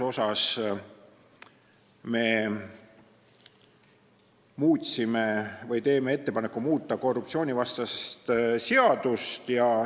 Me teeme ettepaneku muuta korruptsioonivastast seadust.